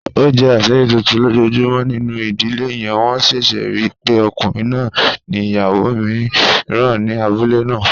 O jẹ aṣiri tuntun lojoojumọ ninu idile yẹn, wọn ṣẹṣẹ rii pe ọkunrin naa ni iyawo miiran ni abule naa.